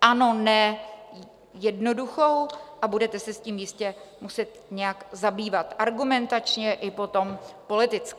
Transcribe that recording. ano, ne - jednoduchou, a budete se s tím jistě muset nějak zabývat argumentačně i potom politicky.